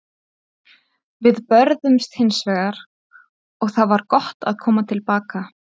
Við börðumst hins vegar og það var gott að koma til baka.